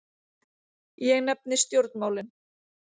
Ég nefni stjórnmálin.